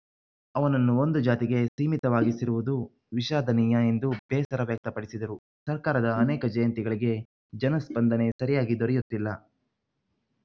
ಅವನನ್ನು ಒಂದು ಜಾತಿಗೆ ಸೀಮಿತವಾಗಿಸಿರುವುದು ವಿಷಾದನೀಯ ಎಂದು ಬೇಸರ ವ್ಯಕ್ತಪಡಿಸಿದರು ಸರ್ಕಾರದ ಅನೇಕ ಜಯಂತಿಗಳಿಗೆ ಜನಸ್ಪಂದನೆ ಸರಿಯಾಗಿ ದೊರೆಯುತ್ತಿಲ್ಲ